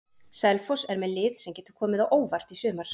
Selfoss er með lið sem getur komið á óvart í sumar.